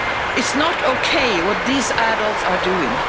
It's not okay what these adults are doing.